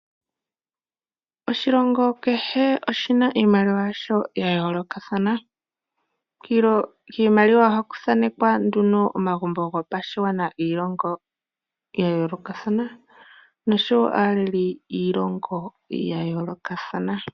Oshilongo kehe oshina iimaliwa yasho ya yoolokathana. Kiimaliwa ohaku thanekwa nduno omagumbo gopashigwana giilongo ya yoolokathana osho wo aaleli yoshilongo.